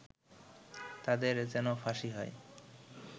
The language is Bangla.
তাদের যেন ফাঁসি হয়